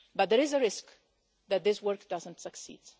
But there is a risk that this work does not succeed.